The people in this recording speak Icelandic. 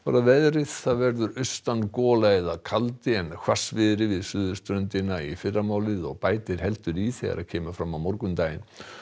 að veðri það verður austan gola eða kaldi en hvassviðri við suðurströndina í fyrramálið og bætir heldur í þegar kemur fram á morgundaginn